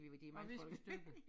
Og viskestykke